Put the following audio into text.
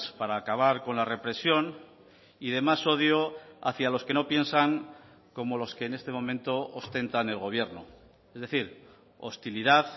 para acabar con la represión y de más odio hacia los que no piensan como los que en este momento ostentan el gobierno es decir hostilidad